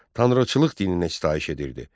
Tanrıçılıq dininə sitayiş edirdi.